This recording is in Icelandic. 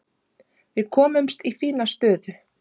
Við komumst í fína stöðu.